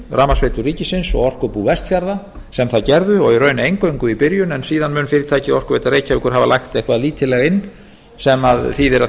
rafmagnsveitur ríkisins og orkubú vestfjarða sem það gerðu og í raun eingöngu í byrjun en síðan mun fyrirtækið orkuveita reykjavíkur hafa lagt eitthvað lítillega inn sem þýðir að